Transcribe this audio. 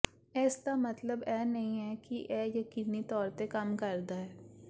ਇਸ ਦਾ ਮਤਲਬ ਇਹ ਨਹੀਂ ਹੈ ਕਿ ਇਹ ਯਕੀਨੀ ਤੌਰ ਤੇ ਕੰਮ ਕਰਦਾ ਹੈ